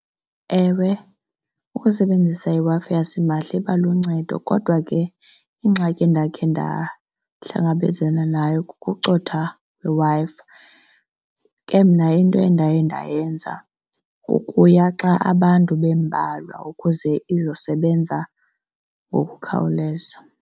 Ewe, ukusebenzisa iWi-Fi yasimahla iba luncedo kodwa ke ingxaki endakhe ndahlangabezana nayo ukucotha kweWi-Fi. Ke mna into endaye ndayenza kukuya xa abantu bembalwa ukuze izosebenza ngokukhawuleza.